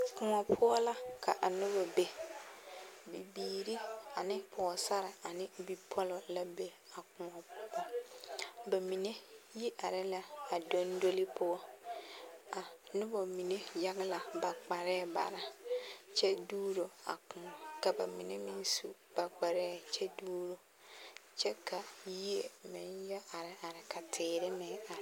Koɔ poɔ la ka a nobɔ be bibiiri ane pɔɔsare ane bipɔlɔ la be a koɔ poɔ ba mine yi are la a dondoli poɔ a nobɔ mine yage la ba kparɛɛ bare kyɛ duuro a koɔ ka ba mine meŋ su ba kparɛɛ kyɛ duuro kyɛ ka yie meŋ yɛ are are ka teere meŋ are.